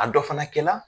A dɔ fana kɛla